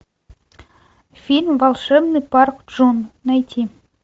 фильм волшебный парк джун найти